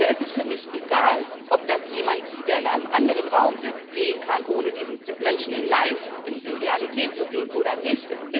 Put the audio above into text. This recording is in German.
Da ist es für mich egal, ob das jemand, der in einem anderen Raum sitzt, sehen kann, ohne diesen Menschen in der Realität zu sehen, oder nicht.